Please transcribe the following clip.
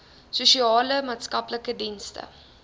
sosiale maatskaplike dienste